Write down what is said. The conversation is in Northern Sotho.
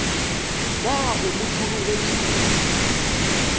na o mo hlologetše kodu